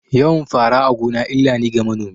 Yawan fara a gona illa ne ga manomi